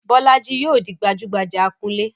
Bolaji yóò di gbajúgbajà akunlé.